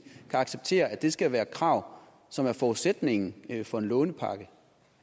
kan acceptere at det skal være et krav som er forudsætningen for en lånepakke